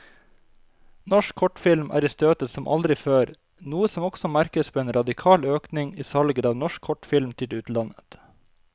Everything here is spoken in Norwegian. Norsk kortfilm er i støtet som aldri før, noe som også merkes på en radikal økning i salget av norsk kortfilm til utlandet.